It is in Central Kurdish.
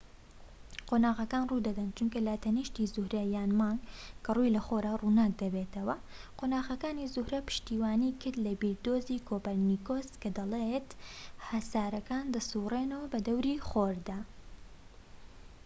قۆناغەکان ڕوودەدەن چونکە لاتەنیشتی زوهرە یان مانگ کە ڕووی لە خۆرە ڕووناک دەبێتەوە. قۆناغەکانی زوهرە پشتیوانی کرد لە بیردۆزەی کۆپەرنیکۆس کە دەڵێت هەسارەکان دەسوڕێنەوە بەدەوری خۆردا